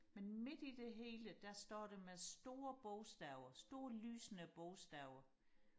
men midt i det hele der står der med store bogstaver store lysende bogstaver